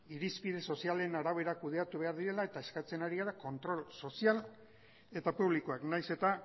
irizpide sozialen arabera kudeatu behar direla eta eskatzen ari gara kontrol sozial eta publikoak nahiz eta